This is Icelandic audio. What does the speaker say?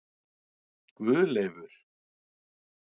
Guðleifur